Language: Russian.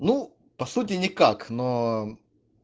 ну по сути никак но